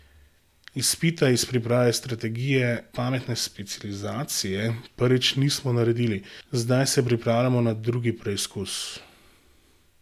Izpita iz priprave strategije pametne specializacije prvič nismo naredili, zdaj se pripravljamo na drugi preizkus.